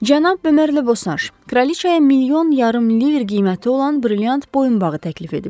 Cənab Bömerlə Boşanş Kraliçaya milyon yarım liver qiyməti olan brilliant boyunbağı təklif ediblər.